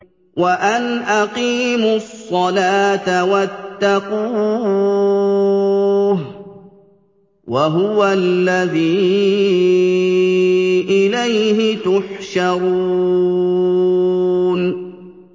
وَأَنْ أَقِيمُوا الصَّلَاةَ وَاتَّقُوهُ ۚ وَهُوَ الَّذِي إِلَيْهِ تُحْشَرُونَ